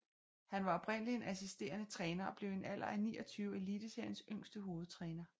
Han var oprindeligt en assisterende træner og blev i en alder af 29 Eliteseriens yngste hovedtræner